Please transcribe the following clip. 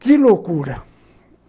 Que loucura!